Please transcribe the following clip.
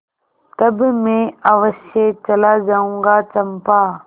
तब मैं अवश्य चला जाऊँगा चंपा